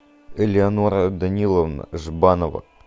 элеонора даниловна жбанова